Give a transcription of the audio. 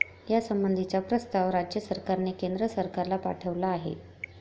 यासंबंधीचा प्रस्ताव राज्य सरकारने केंद्र सरकारला पाठवला आहे.